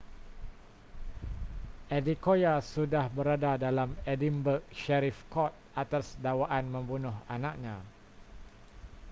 adekoya sudah berada dalam edinburgh sheriff court atas dakwaan membunuh anaknya